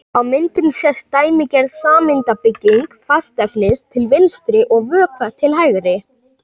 á myndinni sést dæmigerð sameindabygging fastefnis til vinstri og vökva til hægri